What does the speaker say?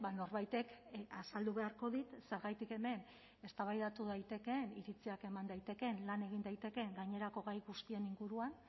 norbaitek azaldu beharko dit zergatik hemen eztabaidatu daitekeen iritziak eman daitekeen lan egin daitekeen gainerako gai guztien inguruan